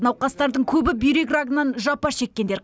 науқастардың көбі бүйрек рагынан жапа шеккендер